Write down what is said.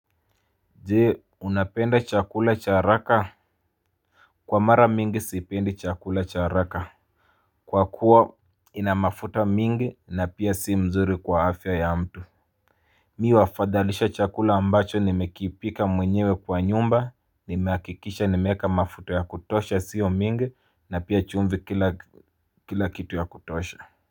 Je unapenda chakula cha haraka Kwa mara mingi sipendi chakula cha haraka Kwa kuwa inamafuta mingi na pia si mzuri kwa afya ya mtu Mi huwafadhalisha chakula ambacho nimekipika mwenyewe kwa nyumba ni hakikisha nimeeka mafuta ya kutosha sio mingi na pia chumvi kila kitu ya kutosha.